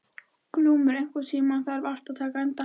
Glúmur, einhvern tímann þarf allt að taka enda.